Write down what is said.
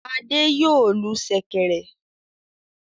Adé yòó lu ṣẹ̀kẹ̀rẹ̀.